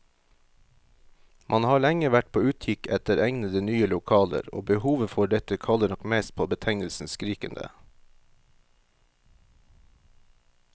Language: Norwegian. Man har lenge vært på utkikk etter egnede, nye lokaler, og behovet for dette kaller nok mest på betegnelsen skrikende.